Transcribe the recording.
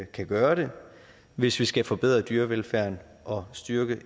kan gøre det hvis vi skal forbedre dyrevelfærden og styrke